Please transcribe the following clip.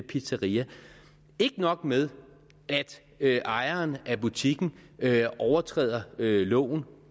pizzeria ikke nok med at ejeren af butikken overtræder loven